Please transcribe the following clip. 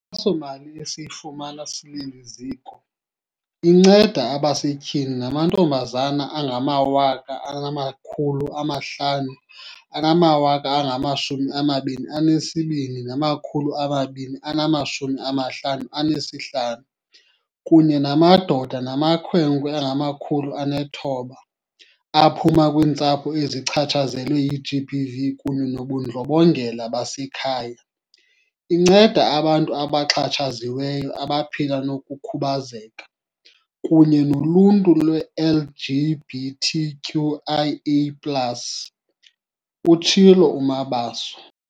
Inkxaso-mali esiyifumana sileli ziko inceda abasetyhini namantombazana angama-522 255 kunye namadoda namakhwenkwe angama-900 aphuma kwiintsapho ezichatshazelwe yi-GBV kunye nobundlobongela basekhaya, inceda abantu abaxhatshaziweyo abaphila nokhubazeko, kunye noluntu lwe-LGBT QIAplus, utshilo uMabaso.